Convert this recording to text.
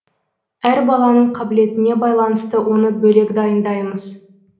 әр баланың қабілетіне байланысты оны бөлек дайындаймыз